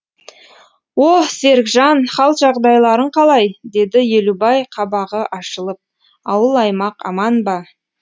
о серікжан хал жағдайларың қалай деді елубай қабағы ашылып ауыл аймақ аман ба